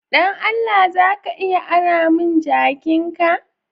Dan Allah, za ka iya ara mun jakin'ka?